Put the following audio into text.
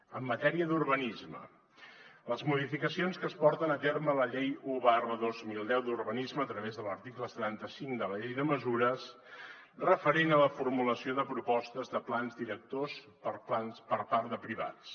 en matèria d’urbanisme les modificacions que es porten a terme a la llei un dos mil deu d’urbanisme a través de l’article setanta cinc de la llei de mesures referent a la formulació de propostes de plans directors per a plans per part de privats